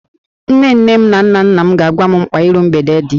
Nne nne m na nna nna m ga-agwa m mkpa iru mgbede dị